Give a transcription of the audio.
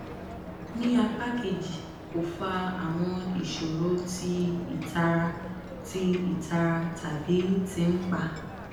ni apa keji ko fa awọn iṣoro ti itara ti itara tabi ti npa